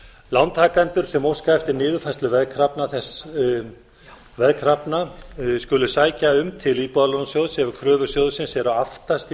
lántakendur sem óska eftir niðurfærslu veðkrafna skuli sækja um til íbúðalánasjóðs ef kröfur sjóðsins eru aftast í